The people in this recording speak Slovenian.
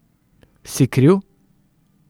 Si kriv?